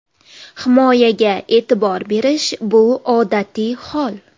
Himoyaga e’tibor berish bu odatiy hol.